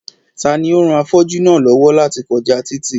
Ta ni ó ran afọ́jú náà lọ́wọ́ láti kọjá títì